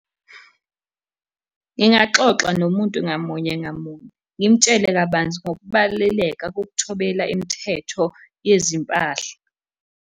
Ngingaxoxa nomuntu ngamunye ngamunye, ngimtshele kabanzi ngokubaluleka kokuthobela imithetho yezimpahla.